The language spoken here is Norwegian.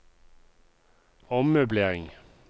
ommøblering